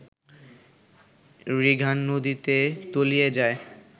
রিগান নদীতে তলিয়ে যায়